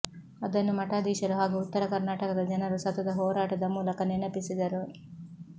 ಅದನ್ನು ಮಠಾಧೀಶರು ಹಾಗೂ ಉತ್ತರ ಕರ್ನಾಟಕದ ಜನರು ಸತತ ಹೋರಾಟದ ಮೂಲಕ ನೆನಪಿಸಿದರು